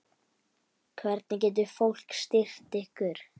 Hvernig getur fólk styrkt ykkur?